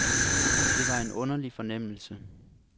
Det var en underlig fornemmelse.